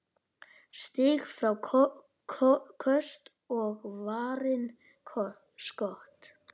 Stig, fráköst og varin skot